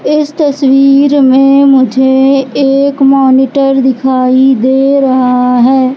इस तस्वीर में मुझे एक मॉनिटर दिखाई दे रहा है।